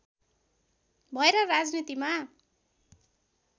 भएर राजनीतिमा